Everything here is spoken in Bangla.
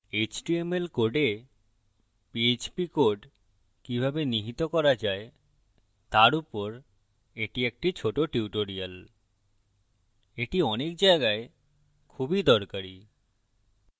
html code php code কিভাবে নিহিত করা যায় তার উপর এটি একটি short tutorial এটি অনেক জায়গায় খুবই দরকারী